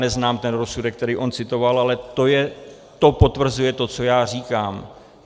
Neznám ten rozsudek, který on citoval, ale to potvrzuje to, co já říkám.